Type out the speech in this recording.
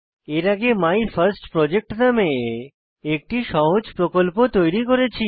এর আগে মাইফার্স্টপ্রজেক্ট নামে একটি সহজ প্রকল্প তৈরী করেছি